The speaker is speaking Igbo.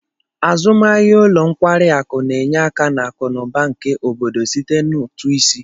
Azụmahịa ụlọ nkwari akụ na-enye aka na akụ na ụba nke obodo site na ụtụ isi